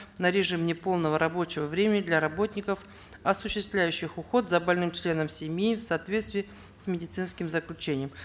на режим неполного рабочего времени для работников осуществляющих уход за больным членом семьи в соответствии с медицинским заключением